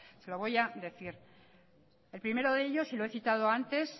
se lo voy a decir el primero de ellos y lo he citado antes